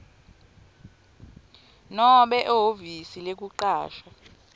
nobe ehhovisi lekucasha